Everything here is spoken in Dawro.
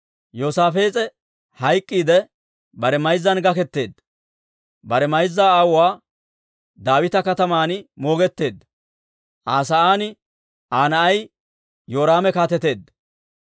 Yoosaafees'e hayk'k'iidde bare mayzzan gaketeedda. Bare mayza aawuwaa Daawita Kataman moogetteedda. Aa sa'aan Aa na'ay Yoraame kaateteedda.